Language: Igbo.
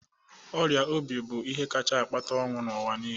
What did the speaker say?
ọrịa obi bụ ihe kacha akpata ọnwụ n'ụwa niile